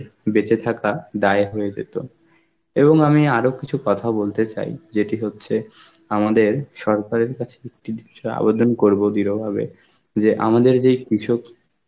বেঁচে থাকা দায় হয়ে যেত. এবং আমি আরো কিছু কথা বলতে চাই যেটি হচ্ছে আমাদের সরকারের কাছে আবেদন করব বিরভাগে যে আমাদের যেই কৃষক